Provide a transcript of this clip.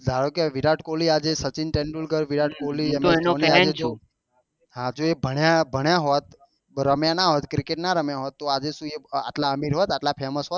ધારો કે વિરાટ કોહલી આજે સચિન તેંદુલકર વિરાટ કોહલી અને આજે ભણ્યા ભણ્યા હોત તો રમ્યા ના હોય cricket ના રમ્યા ના હોત તો આજે શું એ આટલા અમીર હોત આટલા famous હોત